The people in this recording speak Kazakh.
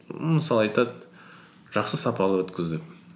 мысалы айтады жақсы сапалы өткіз деп